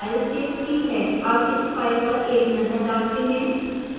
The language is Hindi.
अब इस file पर एक नजर डालते हैं